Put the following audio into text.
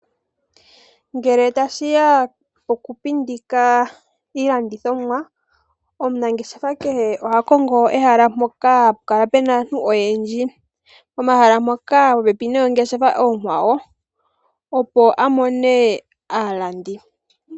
Ngele ta shi ya pokupindika iilandithomwa, omunangeshefa kehe oha kongo ehala mpoka ha pu kala pu na aantu oyendji, pomahala ngoka ge li popepi noongeshefa oonkwawo opo a mone aalandi.